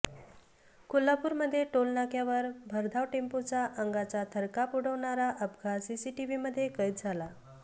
कोल्हापूरमध्ये टोलनाक्यावर भरधाव टेम्पोचा अंगाचा थरकाप उडवणारा अपघात सीसीटीव्हीमध्ये कैद झालाय